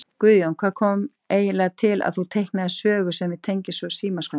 Guðjón: Hvað kom eiginlega til að þú teiknaðir sögu sem að tengist svo Símaskránni?